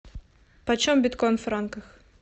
почем биткоин в франках